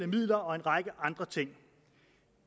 midler og en række andre ting